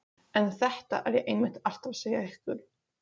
En þetta er ég einmitt alltaf að segja ykkur.